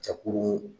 Jakurun